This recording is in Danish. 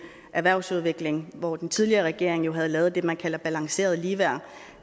erhvervsudvikling hvor den tidligere regering jo havde lavet det man kalder balanceret ligeværd